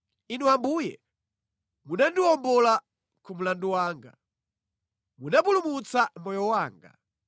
Inu Ambuye munandiwombola ku mlandu wanga; munapulumutsa moyo wanga.